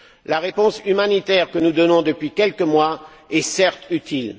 La réponse humanitaire que nous donnons depuis quelques mois est certes utile.